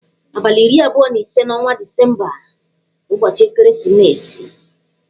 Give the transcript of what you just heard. Abalị iri abụọ na ise n'ọnwa Disemba bụ ụbọchị ekeresimesi.